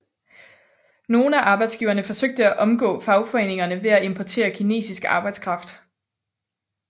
Nogle arbejdsgivere forsøgte at omgå fagforeningerne ved at importere kinesisk arbejdskraft